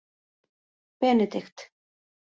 Benidikt